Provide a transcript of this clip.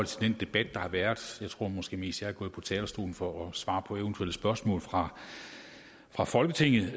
til den debat der har været jeg tror måske mest jeg er gået på talerstolen for at svare på eventuelle spørgsmål fra fra folketinget